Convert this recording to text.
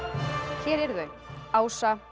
hér eru þau Ása